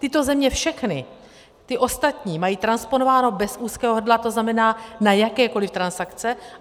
Tyto země všechny, ty ostatní, mají transponováno bez úzkého hrdla, to znamená na jakékoliv transakce.